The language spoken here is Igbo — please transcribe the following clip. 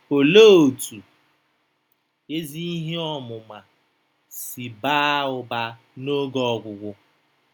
Olee otú ezi ihe ọmụma si baa ụba n’oge ọgwụgwụ?